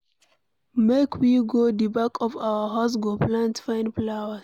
Make we go the back of our house go plant fine flowers.